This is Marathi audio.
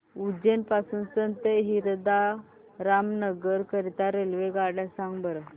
उज्जैन पासून संत हिरदाराम नगर करीता रेल्वेगाड्या सांगा बरं